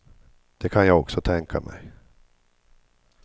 Det kan jag också tänka mig.